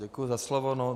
Děkuji za slovo.